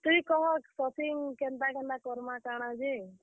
ତୁଇ କହ shopping କେନ୍ତା, କେନ୍ତା କର୍ ମା କାଣା ଯେ।